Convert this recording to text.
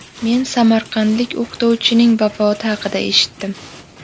Men samarqandlik o‘qituvchining vafoti haqida eshitdim.